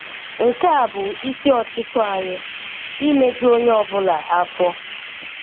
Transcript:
Nke a bụ isi ọchịchọ anyị: imeju onye ọ bụla afọ.